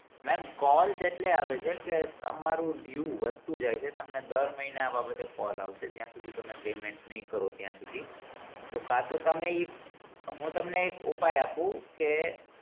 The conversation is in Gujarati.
ma'am call એટલે આવે છે કે તમારું દેવુ વધતું જાય છે તમને દર મહિના આ બાબતે call આવશે જ્યાં સુધી તમે payment ની કરો ત્યાં સુધી તો કાંતો તમે હું તમને એક ઉપાય આપું કે